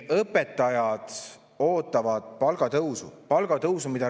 Õpetajad ootavad palgatõusu.